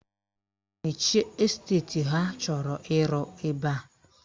Mechie esteti ha chọrọ ịrụ ebe a!